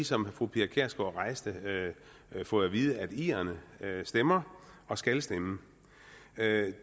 som fru pia kjærsgaard rejste fået at vide at irerne stemmer og skal stemme